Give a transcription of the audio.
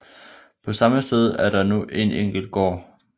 På samme sted er der nu en enkel gård